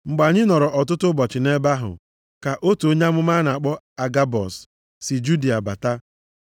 Mgbe anyị nọrọ ọtụtụ ụbọchị nʼebe ahụ, ka otu onye amụma a na-akpọ Agabọs, si Judịa bata.